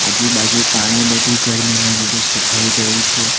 આજુ-બાજુ પાણી બધું ગરમી ને લીધે સુકાઈ ગયું છે.